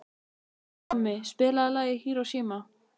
Tommi, spilaðu lagið „Hiroshima“.